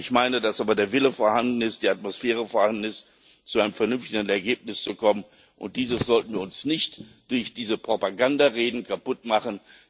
Ich meine aber, dass der Wille vorhanden ist und die Atmosphäre vorhanden ist, zu einem vernünftigen Ergebnis zu kommen, und dies sollten wir uns nicht durch diese Propagandareden kaputtmachen.